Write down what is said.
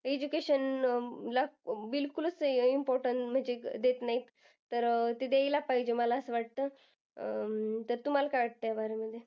Education ला बिलकुलच importance म्हणजे देत नाहीत. तर अह ते द्यायला पाहिजे मला असं वाटतं. अं तर तुम्हाला काय वाटतं ह्याबारे मध्ये?